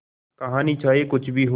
कहानी चाहे कुछ भी हो